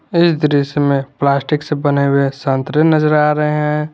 इस दृश्य में प्लास्टिक से बने हुए संतरे नजर आ रहे हैं।